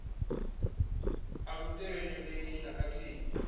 a lu tevhelelei na khathihi